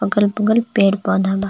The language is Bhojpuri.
अगल बगल पेड़ पौधा बा.